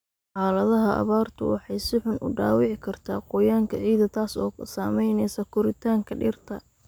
Xaaladaha abaartu waxay si xun u dhaawici kartaa qoyaanka ciidda, taas oo saameynaysa koritaanka dhirta.